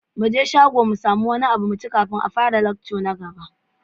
Muje shago mu samu wani abu kafin a fara lecture na gaba.